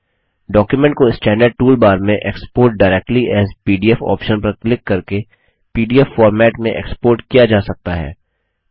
document को standard tool bar में export directly as PDF option पर क्लिक करके पीडीएफ फॉर्मेट में एक्सपोर्ट किया जा सकता है